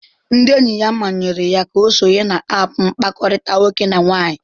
Ndị enyi ya manyere ya ka ọ sonye na aapu mkpakọrịta nwoke na nwaanyị.